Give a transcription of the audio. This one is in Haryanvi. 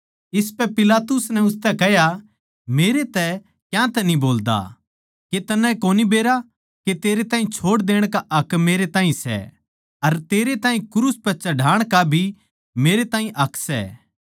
इसपै पिलातुस नै उसतै कह्या मेरतै क्यातै न्ही बोल्दा के तन्नै कोनी बेरा के तेरै ताहीं छोड़ देण का हक मेरै ताहीं सै अर तेरै ताहीं क्रूस पै चढ़ाण का भी मेरै ताहीं हक सै